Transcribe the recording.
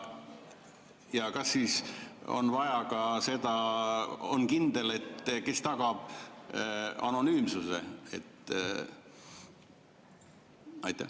Ja kas siis on vaja ka seda, on kindel, et kes tagab anonüümsuse?